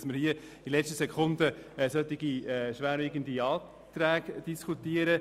Es kann nicht sein, dass wir in letzter Sekunde schwerwiegende Anträge diskutieren.